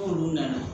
N'olu nana